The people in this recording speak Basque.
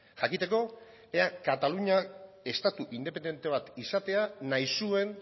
jakiteko ea kataluniak estatu independente bat izatea nahi zuen